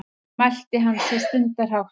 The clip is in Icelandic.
mælti hann svo stundarhátt.